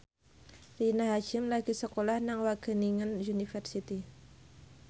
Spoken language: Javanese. Rina Hasyim lagi sekolah nang Wageningen University